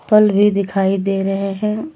फल भी दिखाई दे रहे हैं।